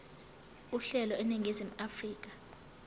uhlelo eningizimu afrika